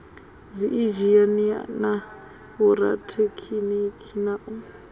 dziinzhinia na vhorathekhiniki na u